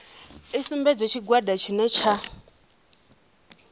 i sumbedze tshigwada tshine tsha